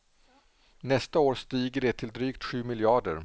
Nästa år stiger det till drygt sju miljarder.